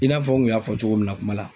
I n'a fɔ n kun y'a fɔ cogo min na kuma la.